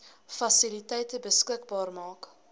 fasiliteite beskikbaar maak